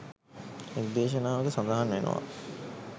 එක් දේශනාවක සඳහන් වෙනවා